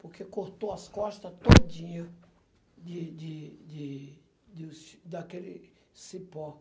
Porque cortou as costas todinha de de de do ci daquele cipó.